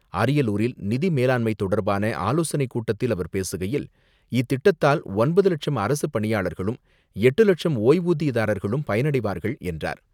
அரியலூரில் நிதி மேலாண்மை தொடர்பான ஆலோசனைக் கூட்டத்தில் அவர் பேசுகையில், இத்திட்டத்தால் ஒன்பது லட்சம் அரசு பணியாளர்களும், எட்டு லட்சம் ஓய்வூதியதாரர்களும் பயனடைவார்கள் என்றார்.